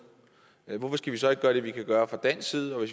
hvorfor skal vi så ikke gøre det vi kan gøre fra dansk side og